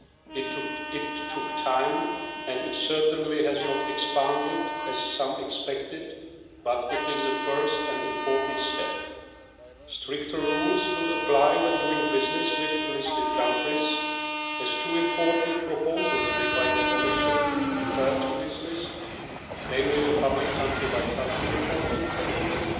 It took time and it has certainly not expanded, as some expected, but it is a first and important step. Stricter rules will apply when doing business with the listed countries as two important proposals made by the Commission refer to this list, namely the public country-by-country reporting proposal